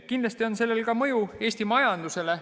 Kindlasti on sellel ka mõju Eesti majandusele.